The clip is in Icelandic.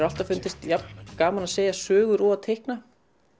alltaf fundist jafn gaman að segja sögur og að teikna